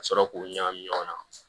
Ka sɔrɔ k'u ɲagami ɲɔgɔn na